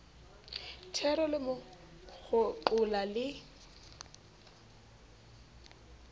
thero le mo kgoqola le